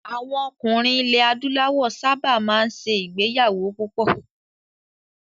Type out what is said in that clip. Àwọn ọkùnrin ilẹ̀ Adúláwọ̀ sábà máa ń ṣe ìgbéyàwó púpọ̀.